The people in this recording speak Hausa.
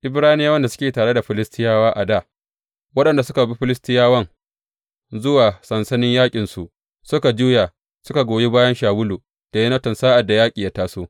Ibraniyawan da suke tare da Filistiyawa a dā, waɗanda suka bi Filistiyawan zuwa sansanin yaƙinsu, suka juya, suka goyi bayan Shawulu da Yonatan sa’ad da yaƙin ya taso.